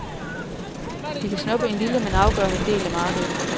De kan snuppe en lille, men afgørende del af markedet.